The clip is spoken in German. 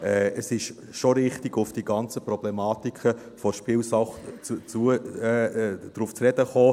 Es ist schon richtig, auf die ganzen Problematiken der Spielsucht zu sprechen zu kommen.